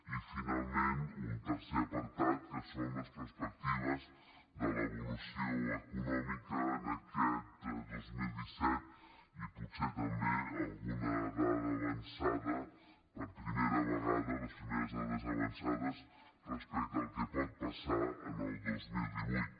i finalment un tercer apartat que són les perspectives de l’evolució econòmica en aquest dos mil disset i potser també alguna dada avançada per primera vegada les primeres dades avançades respecte al que pot passar en el dos mil divuit